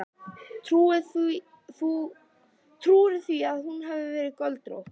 Trúirðu því að hún hafi verið göldrótt.